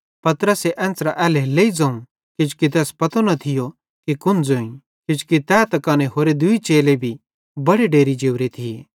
पतरसे एन्च़रां एल्हेरेलेइ ज़ोवं किजोकि तैस पतो न थियो कि कुन ज़ोईं किजोकि तै त कने होरे दूई चेले भी बड़े डेरि जोरे थिये